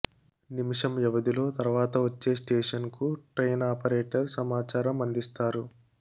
నిమిషం వ్యవధిలో తర్వాత వచ్చే స్టేషన్కు ట్రైన్ ఆపరేటర్ సమాచారం అందిస్తారు